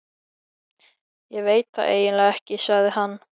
Ég veit það eiginlega ekki, sagði hann.